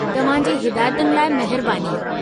तव्हां जी हिदायतुनि लाइ महिरबानी।